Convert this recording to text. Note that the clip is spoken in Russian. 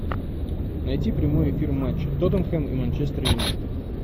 найти прямой эфир матча тоттенхэм и манчестер юнайтед